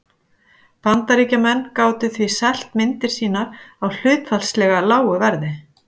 Bandaríkjamenn gátu því selt myndir sínar á hlutfallslega lágu verði.